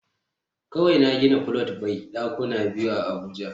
Kawai na gina flat mai dakuna biyu a abuja